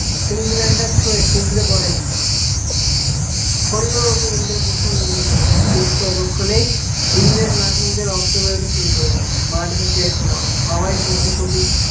finish line টা ছুয়ে পড়ে ইন্দ্র কিন্তু পরক্ষনে ইন্দ্রে নাক মুখ তে রক্ত বেরোতে শুরু করেছে